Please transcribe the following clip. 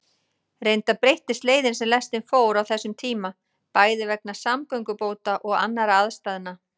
Reyndar breyttist leiðin sem lestin fór á þessum tíma, bæði vegna samgöngubóta og annarra aðstæðna.